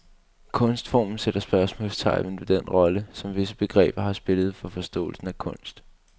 Kunstformen sætter spørgsmålstegn ved den rolle, som visse begreber har spillet for forståelsen af kunst.